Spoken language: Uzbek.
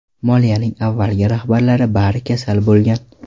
Moliyaning avvalgi rahbarlari bari kasal bo‘lgan.